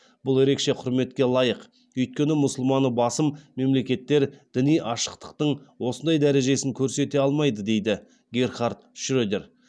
бұл ерекше құрметке лайық өйткені мұсылманы басым мемлекеттер діни ашықтықтың осындай дәрежесін көрсете алмайды дейді герхард шредер